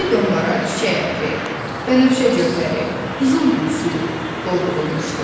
Bu bidonlara çiçək ətri, bənövşə cövhəri, qızılgül suyu doldurulmuşdu.